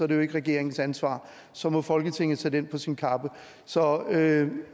det jo ikke regeringens ansvar så må folketinget tage den på sin kappe så